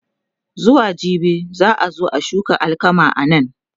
zuwa jibi za'a zo a shuka alkama anan